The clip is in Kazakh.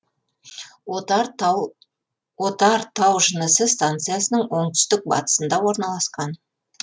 отар тау жынысы станциясының оңтүстік батысында орналасқан